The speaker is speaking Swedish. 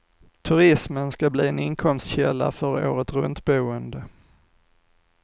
Turismen ska bli en inkomstkälla för åretruntboende.